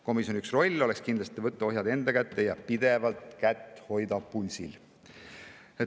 Komisjoni üks roll oleks kindlasti võtta ohjad enda kätte ja hoida pidevalt kätt pulsil.